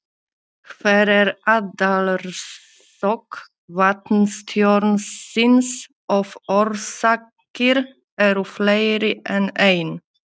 Hver er aðalorsök vatnstjónsins, ef orsakir eru fleiri en ein?